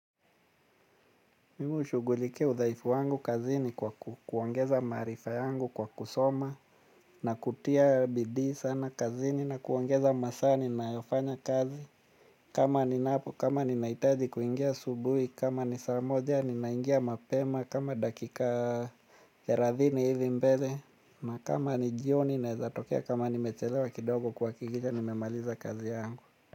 Mimi hushughulikia udhaifu wangu kazini kwa kuongeza maarifa yangu kwa kusoma. Na kutia bidii sana kazini na kuongeza masaa ninayofanya kazi. Kama ninapo, kama ninahitaji kuingia asubuhi, kama ni saa moja ninaingia mapema, kama dakika thelathini hivi mbele, na kama ni jioni naeza tokea kama nimechelewa kidogo kuhakikisha nimemaliza kazi yangu.